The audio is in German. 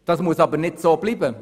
Das muss aber nicht so bleiben.